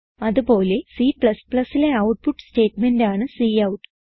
അത് പോലെ Cലെ ഔട്ട്പുട്ട് സ്റ്റേറ്റ്മെന്റാണ് കൌട്ട്